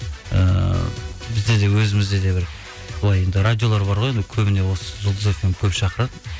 ііі бізде де өзімізде де бір былай енді радиолар бар ғой енді көбіне осы жұлдыз фм көп шақырады